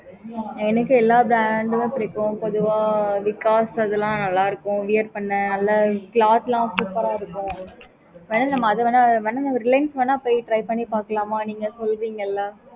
எனக்கு எல்லாம் brand புடிக்கும் பொதுவா because அதுலாம் நல்ல இருக்கும் wear பண்ண நல்ல cloth super ஆஹ் இருக்கும் வென நம்ப அதுவென வென reliance வென போய் try பண்ணி பாக்கலாமா